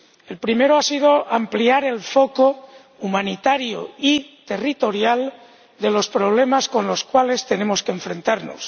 El primero ha sido ampliar el foco humanitario y territorial de los problemas a los cuales tenemos que enfrentarnos.